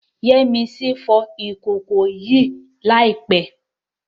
Yemisi fọ ìkòkò yẹn ní àìpẹ́